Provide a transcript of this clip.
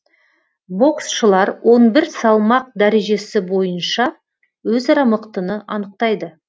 боксшылар он бір салмақ дәрежесі бойынша өзара мықтыны анықтайды